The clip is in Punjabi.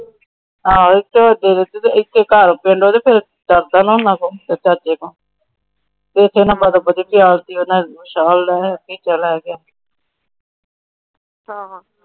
ਆ ਇੱਥੇ ਘਰ ਪਿੰਡ ਡਰਦਾ ਨਾ ਉਹਨਾਂ ਕੋਲੋਂ ਤੇਰੇ ਚਾਚੇ ਤੋਂ ਕਹਿੰਦਾ ਬਦੋ ਬਦੀ ਪਿਆ ਤੀ